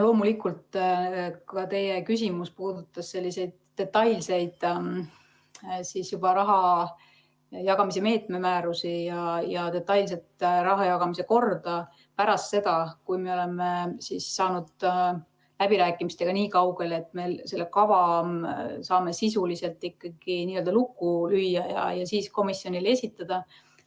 Loomulikult, teie küsimus puudutas juba detailseid raha jagamise meetme määrusi ja detailset raha jagamise korda pärast seda, kui me oleme saanud läbirääkimistega nii kaugele, et me selle kava saame sisuliselt ikkagi lukku lüüa ja komisjonile esitada.